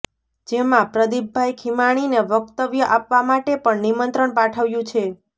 જેમાં પ્રદિપભાઈ ખીમાણીને વક્તવ્ય આપવા માટે પણ નિમંત્રણ પાઠવ્યુ છે